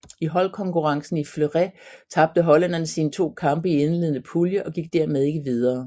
I holdkonkurrencen i fleuret tabte hollænderne sine to kampe i indledende pulje og gik dermed ikke videre